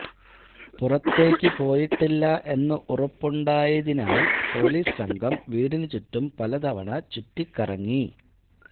പുറത്തേയ്ക്ക് പോയിട്ടില്ല എന്നറുപ്പുണ്ടായിരുന്നതിനാൽ പൊലീസ് സംഘം വീടിനുചുറ്റും പല തവണ ചൂറ്റിക്കറങ്ങി